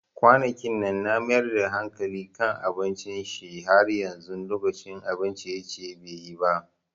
Kwanakinnan na mayar da hankali kan abinci, Shin har yanzu lokacin abun ciye-ciye be yi ba?